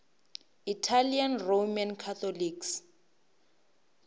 italian roman catholics